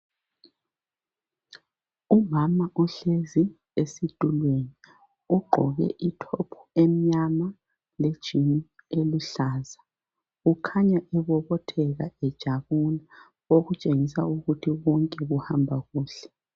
Umama uhlezi esithulweni ugqoke ithophu emnyama ,lejini eluhlaza. Ukhanya ebobotheka ejabula okutshengisa ukuthi konke kuhamba kuhle .